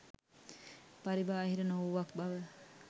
පරිබාහිර නොවූවක් බව